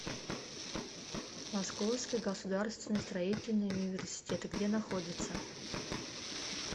московский государственный строительный университет где находится